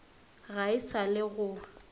ga e sa le go